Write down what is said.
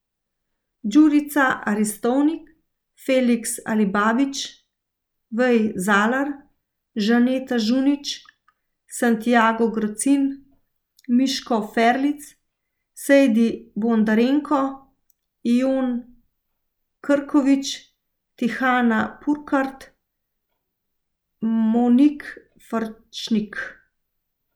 Đurica Aristovnik, Felix Alibabić, Wei Zalar, Žaneta Žunič, Santiago Gracin, Miško Ferlinc, Sejdi Bondarenko, Yvonne Krković, Tihana Purkart, Monique Farčnik.